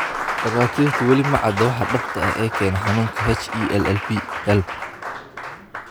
Dhakhaatiirtu wali ma cadda waxa dhabta ah ee keena xanuunka HELLP.